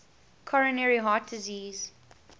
coronary heart disease